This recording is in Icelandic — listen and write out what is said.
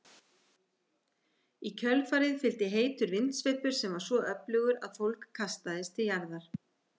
Í kjölfarið fylgdi heitur vindsveipur sem var svo öflugur að fólk kastaðist til jarðar.